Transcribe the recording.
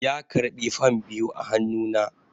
ya karɓi fam biyu a hannu na